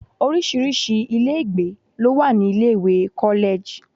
Orísirísi ilé ìgbé ló wà ní ilé ìwé college.